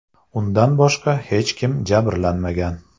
Undan boshqa hech kim jabrlanmagan.